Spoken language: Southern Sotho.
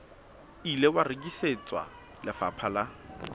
ile wa rekisetswa lefapha la